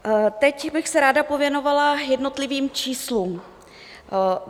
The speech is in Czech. Teď bych se ráda pověnovala jednotlivým číslům.